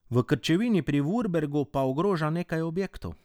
V Krčevini pri Vurbergu pa ogroža nekaj objektov.